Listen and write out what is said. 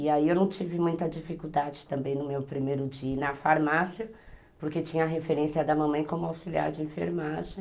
E aí eu não tive muita dificuldade também no meu primeiro dia na farmácia, porque tinha referência da mamãe como auxiliar de enfermagem.